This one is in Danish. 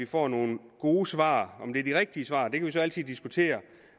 får nogle gode svar om det er de rigtige svar kan vi så altid diskutere